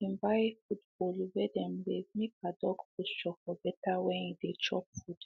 she been buy food bowl wey dem raise make her dog posture for better when e dey chop food